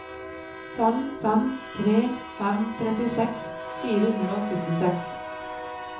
fem fem tre fem trettiseks fire hundre og syttiseks